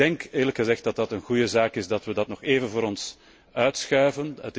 Ik denk eerlijk gezegd dat het een goede zaak is dat we dat pakket nog even voor ons uitschuiven.